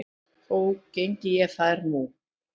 Þó geng ég þær nú